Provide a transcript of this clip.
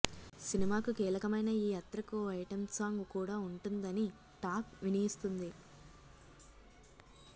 సినిమాకు కీలకమైన ఈ అత్రకు ఓ ఐటెం సాంగ్ కూడా ఉంటుందని టాక్ వినిఇస్తుంది